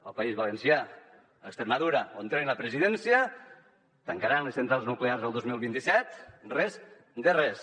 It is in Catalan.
al país valencià a extremadura on tenen la presidència tancaran les centrals nuclears el dos mil vint set res de res